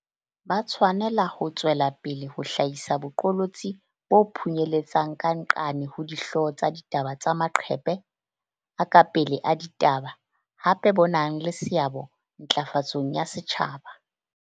Ba tshwanela ho tswela pele ho hlahisa boqolotsi bo phunyeletsang ka nqane ho dihlooho tsa ditaba le maqephe a ka pele a ditaba, hape bo nang le seabo ntla fatsong ya setjhaba.